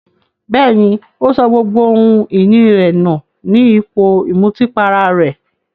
Bẹ́ẹ̀ní, ó sọ gbogbo ohun ìní rẹ̀ nù ní ipò ìmutípara rẹ̀.